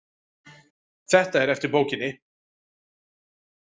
Þetta er eftir bókinni